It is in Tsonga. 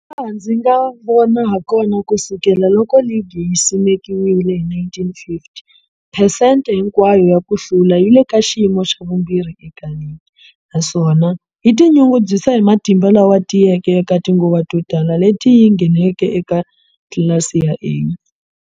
Hi laha ndzi nga vona hakona, ku sukela loko ligi yi simekiwile,1950, phesente hinkwayo ya ku hlula yi le ka xiyimo xa vumbirhi eka ligi, naswona yi tinyungubyisa hi matimba lama tiyeke eka tinguva to tala leti yi ngheneke eka tlilasi ya A.